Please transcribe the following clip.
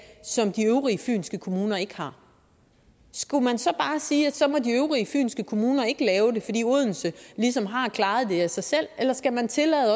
som de øvrige fynske kommuner ikke har skulle man så bare sige at så må de øvrige fynske kommuner ikke lave det fordi odense ligesom har klaret det af sig selv eller skal man tillade